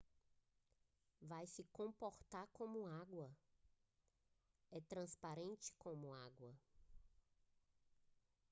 vai se comportar como água é transparente como água